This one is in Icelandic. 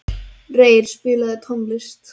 Reyr, spilaðu tónlist.